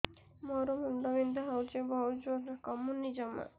ମୋର ମୁଣ୍ଡ ବିନ୍ଧା ହଉଛି ବହୁତ ଜୋରରେ କମୁନି ଜମା